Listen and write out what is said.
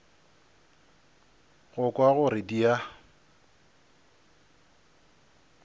go kwa gore di a